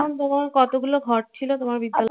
তোমার কতগুলো ঘর ছিল তোমার বিদ্যালয়ে?